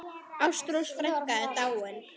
Ástrós frænka er dáin.